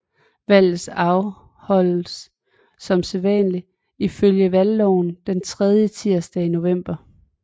Valget afholdtes som sædvanlig ifølge valgloven den tredje tirsdag i november